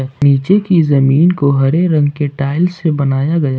नीचे की जमीन को हरे रंग के टाइल्स से बनाया गया--